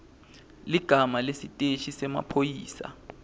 ligama lesiteshi semaphoyisa